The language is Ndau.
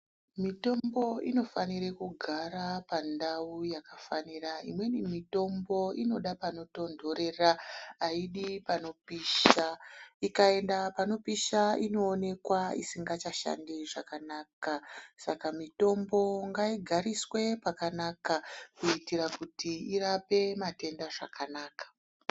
Mitombo inofanire kugara pandau yakafanira. Imweni mitombo inoda panotondorera, hayidi panopisha. Ikayenda panopisha inowonekwa isangachashandi zvakanaka. Saka mitombo ngayigariswe pakanaka, kuyitira kuti irape matenda zvakanaka.